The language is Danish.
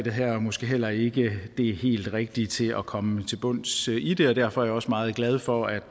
her måske heller ikke det helt rigtige til at komme til bunds i det derfor er jeg også meget glad for at